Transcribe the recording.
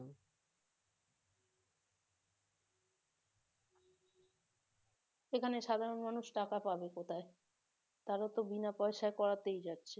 সেখানে সাধারণ মানুষ টাকা পাবে কোথায়? তারা তো বিনা পয়সায় করাতেই যাচ্ছে